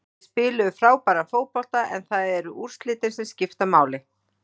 Þeir spiluðu frábæran fótbolta en það eru úrslitin sem skipta máli.